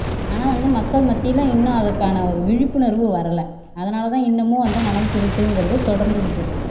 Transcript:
ஆனா வந்து மக்கள் மத்தில இன்னும் அதற்கான ஒரு விழிப்புணர்வு வரல அதனாலதான் இன்னமும் வந்து மணல் திருட்டுங்கிறது தொடர்ந்துகிட்டு இருக்கு